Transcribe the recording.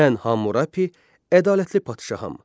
Mən Hamurapi, ədalətli padşaham.